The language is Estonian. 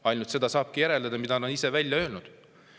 Ainult seda saabki järeldada, mida nad ise on välja öelnud.